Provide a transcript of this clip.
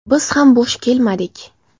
Biz ham bo‘sh kelmadik.